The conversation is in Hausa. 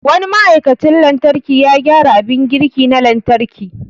Wani ma'aikacin lantarki ya gyara abin girki na lantarki.